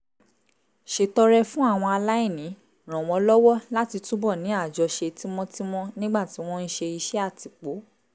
ṣètọrẹ fún àwọn aláìní ràn wọ́n lọ́wọ́ láti túbọ̀ ní àjọṣe tímọ́tímọ́ nígbà tí wọ́n ń ṣe iṣẹ́ àtìpó